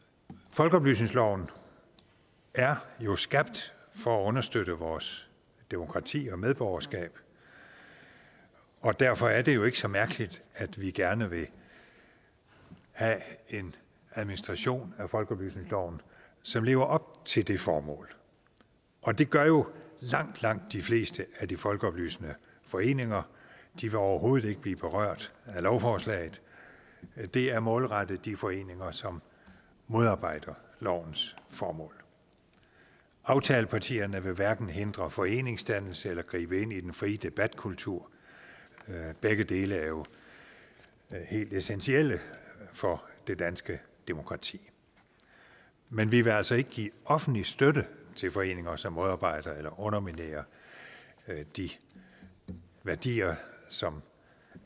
folkeoplysningsloven er jo skabt for at understøtte vores demokrati og medborgerskab og derfor er det jo ikke så mærkeligt at vi gerne vil have en administration af folkeoplysningsloven som lever op til det formål og det gør jo langt langt de fleste af de folkeoplysende foreninger de vil overhovedet ikke blive berørt af lovforslaget det er målrettet de foreninger som modarbejder lovens formål aftalepartierne vil hverken hindre foreningsdannelse eller gribe ind i den frie debatkultur begge dele er jo helt essentielle for det danske demokrati men vi vil altså ikke give offentlig støtte til foreninger som modarbejder eller underminerer de værdier som